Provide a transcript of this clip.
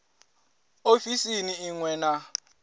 ofisini i ṅ we na